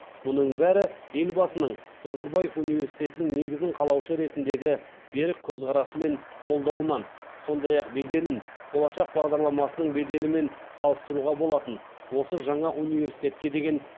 мұның бәрі елбасының назарбаев университетінің негізін қалаушы ретіндегі берік көзқарасы мен қолдауынан сондай ақ беделін болашақ бағдарламасының беделімен салыстыруға болатын осы жаңа университетке деген